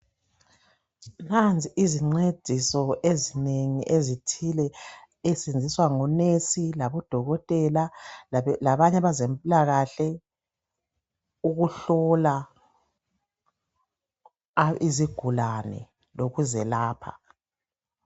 Nanzi izicediso ezinengi ezithile ezisetshenziswa ngunesi labodokotela labanye abezempilakahle ukuhlola izigulane lokuzelapha .